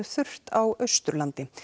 þurrt á Austurlandi